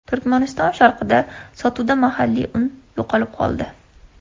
Turkmaniston sharqida sotuvda mahalliy un yo‘qolib qoldi.